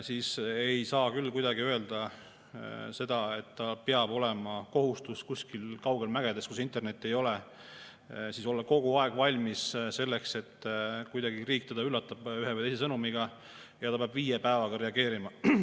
Siis ei saa küll kuidagi öelda, et tal peab olema kohustus kuskil kaugel mägedes, kus internetti ei ole, olla kogu aeg valmis selleks, et riik teda üllatab ühe või teise sõnumiga ja ta peab viie päeva jooksul reageerima.